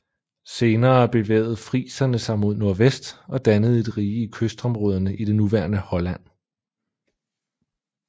Senere bevægede friserne sig mod nordvest og dannede et rige i kystområderne i det nuværende Holland